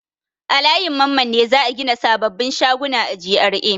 A layin Mamman ne za a gina sababbin shaguna a GRA.